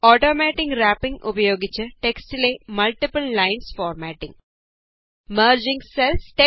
automatic wrapping ഉപയോഗിച്ച് ടെക്സ്റ്റിലെ multiple lines formatting merging cells